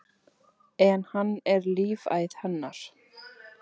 En hann er lífæð hennar.